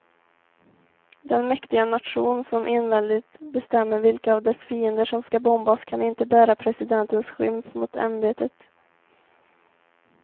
Den mäktiga nation som enväldigt bestämmer vilka av dess fiender som ska bombas kan inte bära presidentens skymf mot ämbetet.